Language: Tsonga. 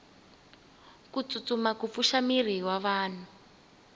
kutsutsuma kupfusha miri wavanhu